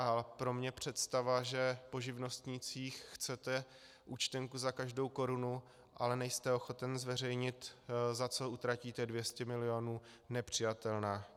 A pro mě představa, že po živnostnících chcete účtenku za každou korunu, ale nejste ochoten zveřejnit, za co utratíte 200 milionů, nepřijatelná.